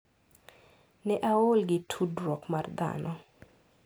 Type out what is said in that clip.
Ne aol gi tudruok mar dhano.